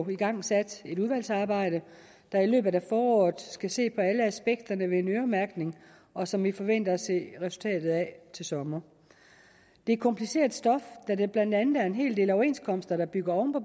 igangsat et udvalgsarbejde der i løbet af foråret skal se på alle aspekterne ved en øremærkning og som vi forventer at se resultatet af til sommer det er kompliceret stof da der blandt andet er en hel del overenskomster der bygger oven på